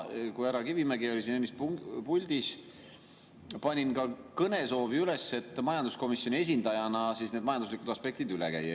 Kui härra Kivimägi oli enne siin puldis, siis ma panin ka kõnesoovi üles, et majanduskomisjoni esindajana need majanduslikud aspektid üle käia.